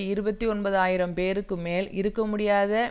இருபத்தி ஒன்பது ஆயிரம் பேருக்கு மேல் இருக்க முடியாத